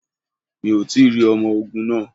Mi ò tí rí ọmọ ogun náà.